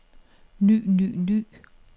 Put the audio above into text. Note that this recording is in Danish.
ny ny ny